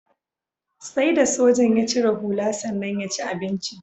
Sai da sojan ya cire hula sannan ya ci abincin.